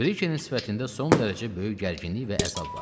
Brikenin sifətində son dərəcə böyük gərginlik və əzab vardı.